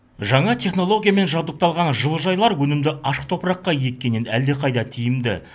жаңа технологиямен жабдықталған жылыжайлар өнімді ашық топыраққа еккеннен әлдеқайда тиімді